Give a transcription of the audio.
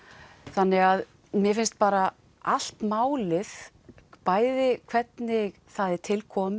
þannig að mér finnst bara allt málið bæði hvernig það er tilkomið